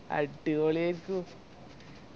അടിപൊളിയാരിക്കും